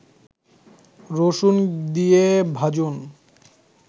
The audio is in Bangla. রসুন দিয়ে ভাজুন